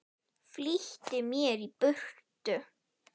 Flýtti mér í burtu.